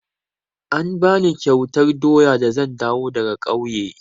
An bani kyautar doya da zan dawo daga ƙauye.